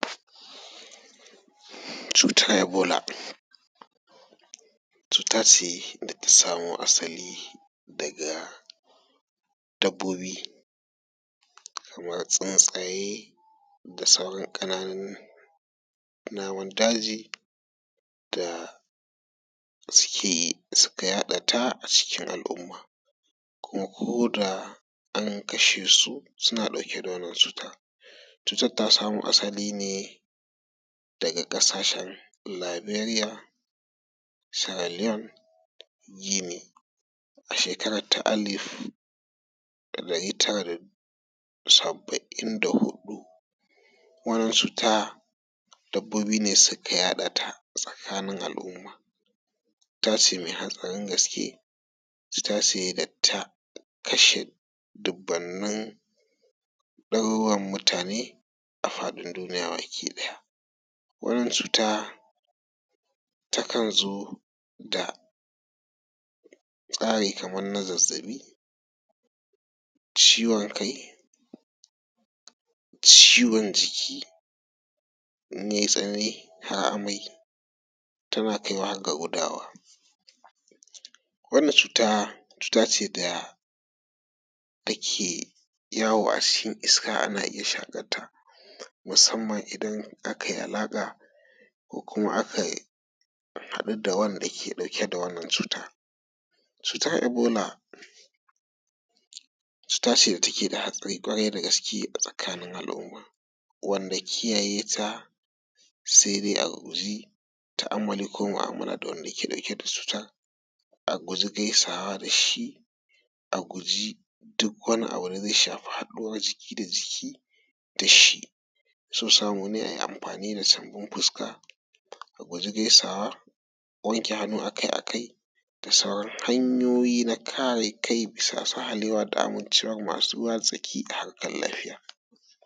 Cutar ebola cuta ce da ta samo asali daga dabbobi kaman tsuntaye da sauran ƙananun namomin daji, da suka yaɗata a cikin al'umma. Kuma koda an kashe su suna ɗauke da wannan cutar. Cutar ta samo asali ne daga ƙasashen Liberiya, sirliyon, gini, a shekara ta alif ɗari tara da saba’in da huɗu (1974). Wannan cuta dabbobi ne suka yaɗa ta a tsakanin al'umma. Cuta ce mai hatsarin gaske, cuta ce da ta kashe dubanin ɗaruruwan mutane a faɗin duniya gaba ɗaya. Wannan cuta takan zo da tsari kaman na zazzaɓi, ciwon kai, ciwon jiki, in yai tsanani har amai, tana kai wa har da gudawa. Wannan cuta cuta ce da take yawo a cikin iska, ana iya shakarta musanman idan aka yi alaƙa ko kuma aka haɗu da wanda ke ɗauke da wannan cutar. Cutar ebola cuta ce da take da hatsari ƙwarai da gaske a tsakanin al'umma wanda kiyaye ta sai dai a guji tu’ammali ko mu'amala da wanda yake ɗauke da cutar, a guji gaisawa da shi, a guji duk wani abu da zai shafi haɗuwan jiki da jiki da shi, so samu ne a yi amfani da safan fuska, a guji gaisawa, wanke hannu akai akai da sauran hanyoyi na kare kai bisa sahalewa da amincewan masu ruwa da tsaki a harkan lafiya.